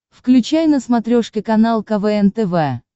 включай на смотрешке канал квн тв